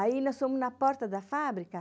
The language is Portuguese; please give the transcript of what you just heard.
Aí, nós fomos na porta da fábrica.